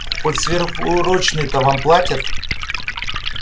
хоть сверхурочные-то вам платят